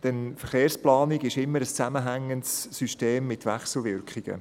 Denn Verkehrsplanung ist immer ein zusammenhängendes System mit Wechselwirkungen.